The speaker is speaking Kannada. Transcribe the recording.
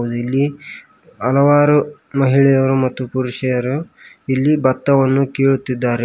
ಇಲ್ಲಿ ಹಲವಾರು ಮಹಿಳೆಯರು ಮತ್ತು ಪುರುಷರು ಇಲ್ಲಿ ಬತ್ತವನ್ನು ಕೀಳುತ್ತಿದ್ದಾರೆ.